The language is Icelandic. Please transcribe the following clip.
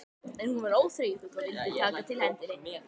En hún var óþreyjufull og vildi taka til hendinni.